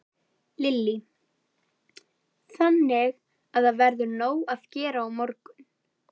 Lillý: Þannig að það verður nóg að gera á morgun?